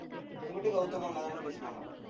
உன்கிட்டயும் கௌதம் அண்ணாதான பேசினாங்கா